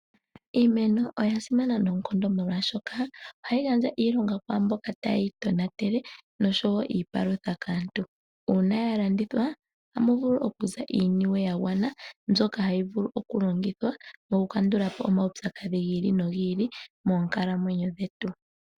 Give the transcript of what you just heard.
Iimeno oya simana noonkondo oshoka ohayi gandja iilonga kwaamboka taye yitonatele noshowo iipalutha kaantu. Uuna ya landithwa ohamu vulu okuza iiniwe yagwana mbyoka hayi vulu okulongithwa mokukandula po omaupyakadhi gi ili nogi ili moonkalamwenyo dhetu.